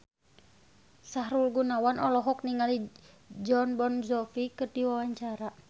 Sahrul Gunawan olohok ningali Jon Bon Jovi keur diwawancara